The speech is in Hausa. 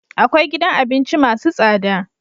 Akwai gidan abinci masu tsada